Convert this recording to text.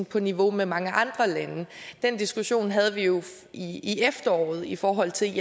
på niveau med mange andre landes den diskussion havde vi jo i efteråret i forhold til